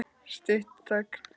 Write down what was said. Stutt þögn.